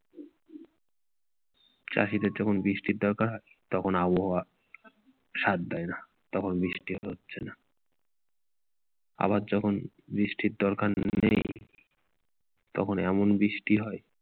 চাষীদের যখন বৃষ্টি দরকার তখন আবহাওয়া সাথ দেয় না তখন বৃষ্টি হচ্ছে না আবার যখন বৃষ্টির দরকার নেই তখন এমন বৃষ্টি হয়-